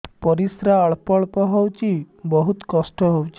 ପରିଶ୍ରା ଅଳ୍ପ ଅଳ୍ପ ହଉଚି ବହୁତ କଷ୍ଟ ହଉଚି